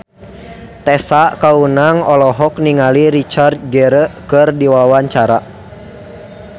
Tessa Kaunang olohok ningali Richard Gere keur diwawancara